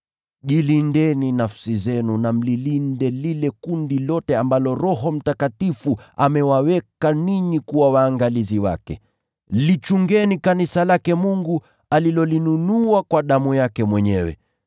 Jilindeni nafsi zenu na mlilinde lile kundi lote ambalo Roho Mtakatifu amewaweka ninyi kuwa waangalizi wake. Lichungeni kanisa lake Mungu alilolinunua kwa damu yake mwenyewe.